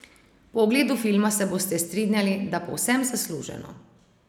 Po ogledu filma se boste strinjali, da povsem zasluženo.